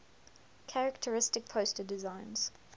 characteristic poster designs